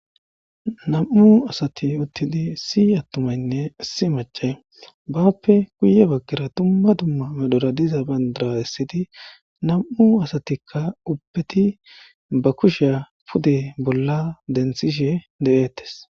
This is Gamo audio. Nam7u asathi uththidi issi issi aththumaynne issi maccay baappe guyye baggara dumma dumma merara diza banddiraa essidi nam7u asathikka ubbethi be kushiyaa pude bolla denththishee de7eeththes.